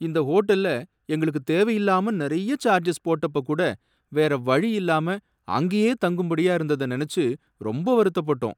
இந்த ஹோட்டல்ல எங்களுக்கு தேவையில்லாம நிறைய சார்ஜஸ் போட்டப்பகூட வேற வழி இல்லாம அங்கேயே தங்கும் படியா இருந்தத நெனச்சி ரொம்ப வருத்தப்பட்டோம்.